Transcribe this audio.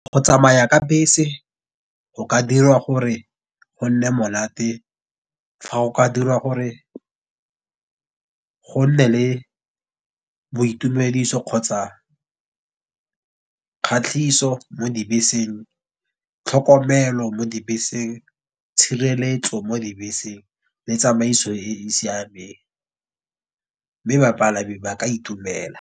Go tsamaya ka bese go ka dira gore go nne monate, fa go ka dira gore go nne le boitumediso kgotsa kgatlhiso mo dibeseng. Tlhokomelo mo dibeseng, tshireletso mo dibeseng, le tsamaiso e e siameng. Mme bapalami ba ka itumela.